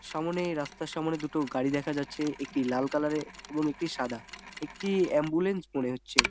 সামনে রাস্তার সামনে দুটো গাড়ি দেখা যাচ্ছে একটি লাল কালার এর এবং একটি সাদা একটি অ্যাম্বুলেন্স মনে হচ্ছে।